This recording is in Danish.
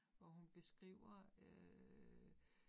Hvor hun beskriver øh